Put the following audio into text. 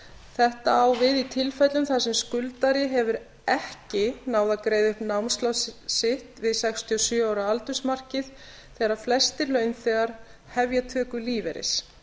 þetta á við í tilfellum þar sem skuldari hefur ekki náð að greiða upp námslán sitt við sextíu og sjö ára aldursmarkið þegar flestir launþegar hefja töku lífeyris